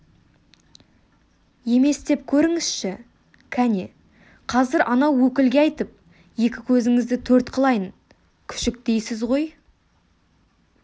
емес деп көріңізші кәне қазір анау өкілге айтып екі көзіңізді төрт қылайын күшік дейсіз ғой